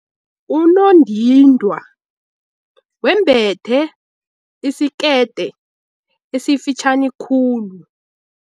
Unondindwa wembethe isikete esifitjhani khulu.